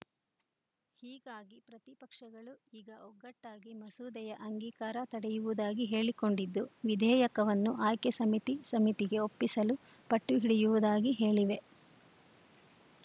ಹೀಗಾಗಿ ಪ್ರತಿಪಕ್ಷಗಳು ಈಗ ಒಗ್ಗಟ್ಟಾಗಿ ಮಸೂದೆಯ ಅಂಗೀಕಾರ ತಡೆಯುವುದಾಗಿ ಹೇಳಿಕೊಂಡಿದ್ದು ವಿಧೇಯಕವನ್ನು ಆಯ್ಕೆ ಸಮಿತಿ ಸಮಿತಿಗೆ ಒಪ್ಪಿಸಲು ಪಟ್ಟು ಹಿಡಿಯುವುದಾಗಿ ಹೇಳಿವೆ